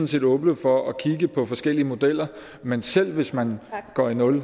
set åbne for at kigge på forskellige modeller men selv hvis man går i nul